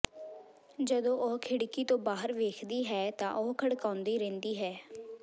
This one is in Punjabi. ਜਦੋਂ ਉਹ ਖਿੜਕੀ ਤੋਂ ਬਾਹਰ ਵੇਖਦੀ ਹੈ ਤਾਂ ਉਹ ਖੜਕਾਉਂਦੀ ਰਹਿੰਦੀ ਹੈ